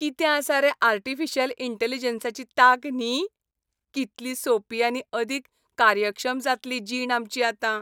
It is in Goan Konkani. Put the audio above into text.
कितें आसा रे आर्टिफिशियल इंटॅलिजन्साची तांक न्ही? कितली सोपी आनी अदीक कार्यक्षम जातली जीण आमची आतां.